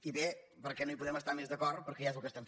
i bé perquè no hi podem estar més d’acord perquè ja és el que fem